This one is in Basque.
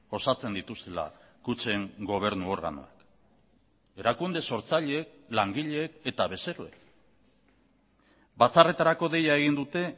osatzen dituztela kutxen gobernu organoak erakunde sortzaileek langileek eta bezeroek batzarretarako deia egin dute